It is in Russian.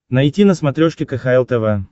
найти на смотрешке кхл тв